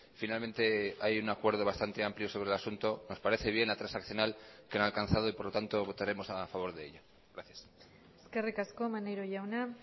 finalmente hay un acuerdo bastante amplio sobre el asunto nos parece bien la transaccional que han alcanzado y por lo tanto votaremos a favor de ello gracias eskerrik asko maneiro jauna